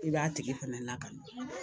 I b'a tigi fɛnɛ lakana